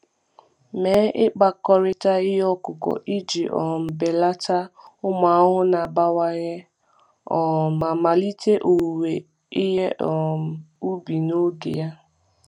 Mee ịkpakọrịta ihe ọkụkụ iji um belata ụmụ ahụhụ na-abawanye um ma melite owuwe ihe um ubi n’oge ya.